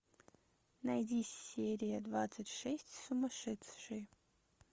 найди серия двадцать шесть сумасшедшие